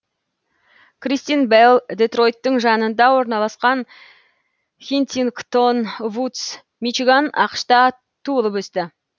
кристен белл детройттың жанында орналасқан хинтингтон вудс мичиган ақш та туылып өсті